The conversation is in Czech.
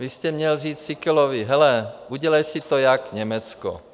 Vy jste měl vzít Síkelovi: Hele, udělej si to jako Německo.